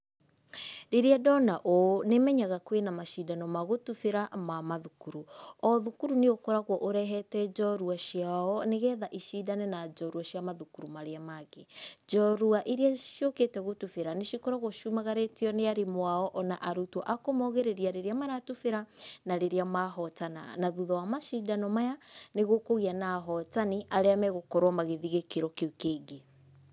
Rĩrĩa ndona ũũ nĩmenyaga kwĩna macindano ma gũtubĩra ma mathukuru. O thukuru nĩ ũkoragwo ũrehete njorua ciao nĩgetha icindane na njorua cia mathukuru marĩa mangĩ. Njorua iria ciũkĩte gũtubĩra nĩcikoragwo ciumagarĩtio nĩ arimu ao ona arutwo a kũmaugĩrĩria rĩrĩa maratubĩra na rĩrĩa mahotana. Na thuutha wa macindano maya nĩ gũkũgĩa na ahotani arĩa magũkorwo magĩthiĩ gĩkĩro kĩu kĩngĩ.